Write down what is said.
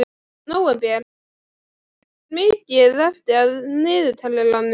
Nóvember, hvað er mikið eftir af niðurteljaranum?